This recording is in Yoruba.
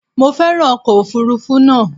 Mo féràn ọkọ̀ òfuurufú náà.